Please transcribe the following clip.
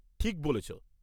ঠিক বলেছ!